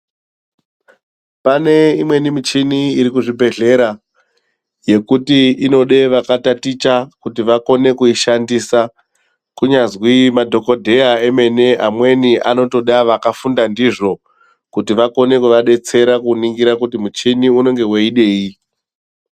Pane imweni michini irikuzvibhedhlera yekuti inoda vakataticha kuti vakone kuishandisa kunyazwi madhokodheya vemene vanenge veitoda vakafunda ndizvo kuti vakone kuvadetsera kuningira kuti muchini unenge weidei.